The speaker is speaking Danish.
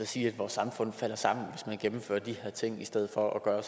sige at vores samfund falder sammen hvis man gennemfører de her ting i stedet for at gøre